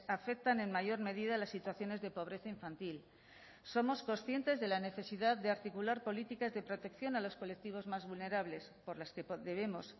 afectan en mayor medida las situaciones de pobreza infantil somos conscientes de la necesidad de articular políticas de protección a los colectivos más vulnerables por las que debemos